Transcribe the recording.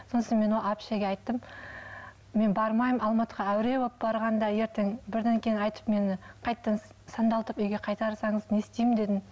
сосын мен әпшеге айттым мен бармаймын алматыға әуре болып барғанда ертең бірдеңені айтып мені қайтадан сандалтып үйге қайтарсаңыз не істеймін дедім